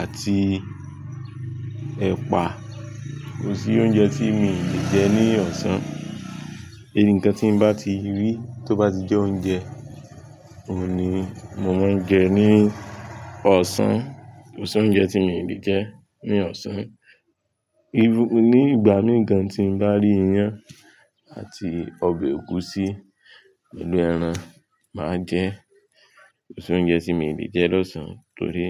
àti ẹ̀pà. Kò sí oúnjẹ tí mi ò lè jẹ ní ọ̀sán. Nǹkan tí n bá ti rí tó bá ti jẹ oúnjẹ, òun ni mo máa ń jẹ ní ọ̀sán. Kò sí oúnjẹ tí mi ò lè jẹ ní ọ̀sán, nígbà mí gan tí n bá rí iyán àti ọbẹ̀ ẹ̀gúsí, inú ẹran máa jẹ kò sí oúnjẹ tí mi ò lè jẹ ní ọ̀sán torí.